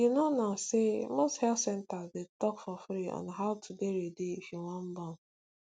you know now say most health centers dey talk for free on how to dey ready if you wan born